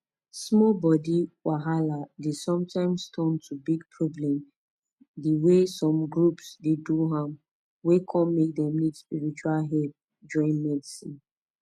small body wahala dey sometimes turn to big problem the way some groups dey do am wey come make dem need spiritual help join medicine